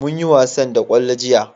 mun yi wasan da kwallo jiya